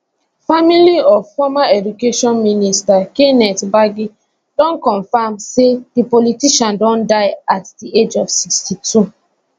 family of former education minister kenneth gbagi don comfam say di politician don die at di age of 62